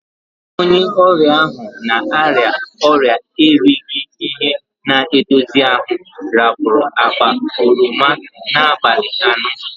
Onye oria ahu na-aria oria erighi- ihi- na-edozi ahu rapuru akpa oroma n'abali ano.